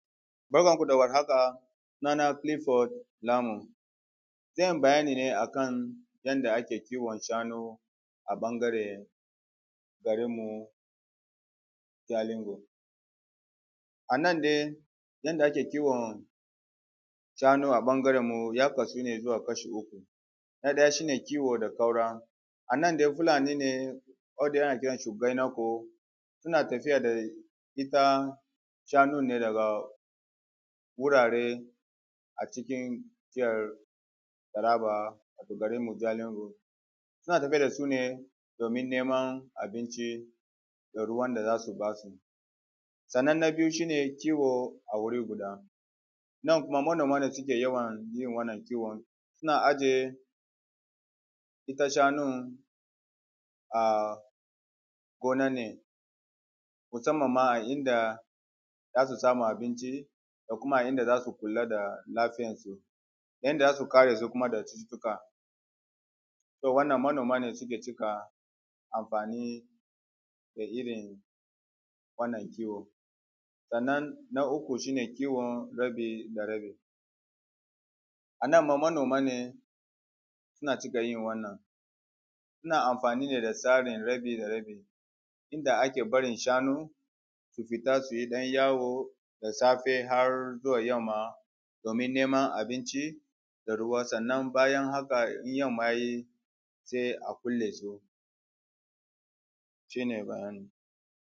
Barkan ku da warhaka, suna na cliffort Lanum. Zan yi bayani ne akan irin da ake shukawa a jihar Taraba. Na ɗaya dai muna da irin masara, masara yana girma sosai ne a ƙasar jihar Taraba sannan muna da kuma shinkafa, ana yawan noman shinkafa ne a jihar Taraba. Taraba yana daga cikin garuruwan da suke fiye noman shinkafa musamman ma a balli da hukari. Sannan muna kuma noman doya, doya ma yana cikin irin da aka fi yin noma a jihat Taraba musamman ma a gefen ƙauyukan takum da zin. Sannan kuma muna da irin da ake nome shi musamman don na kasuwanci ne kawai ɗaya a ciki shine koko, kokon nan ana cika noman shi ne a kurmi da sardauna duka a jihar Taraba. Sannan muna da kofi, kofi ma ana noman shi ne sosai a wuri mai sanyi misali kamar Mambila platu ana noman shi a wurin, sannan muna da kuma gyaɗa da wake, gyaɗa da wake shi ma ana cika noman shi ne sosai a jihar Taraba, ana noman shi don a ci da kuma a sayar da shi duk a jihar taraban. Sannan na biyu shine kiwo a wuri guda, nan kuma manoma ne suke yawan yin wannan kiwon, suna ajiye ita shanun a gona ne musamman ma a inda za su samu abinci da kuma a inda za su kula da lafiyan su, yanda za su kare su kuma da cutuka, wannan manoma ne suke cika amfani da iri wannan kiwo. Sannan na uku shi ne kiwon rabi da rabi, a nan ma manoma ne suna cika yin wannan suna amfani ne da tsarin rabi da rabi inda ake barin shanu su fita su yi ɗan yawo da safe har zuwa yamma domin neman abinci da ruwa, sannan bayan haka in yamma ya yi sai a kulle su. Shi ne bayani.